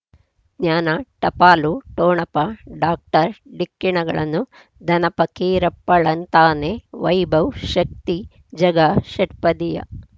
ಜ್ಞಾನ ಟಪಾಲು ಠೊಣಪ ಡಾಕ್ಟರ್ ಢಿಕ್ಕಿ ಣಗಳನು ಧನ ಫಕೀರಪ್ಪ ಳಂತಾನೆ ವೈಭವ್ ಶಕ್ತಿ ಝಗಾ ಷಟ್ಪದಿಯ